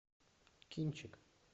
кинчик